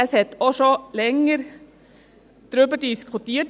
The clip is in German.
es wurde auch schon länger darüber diskutiert.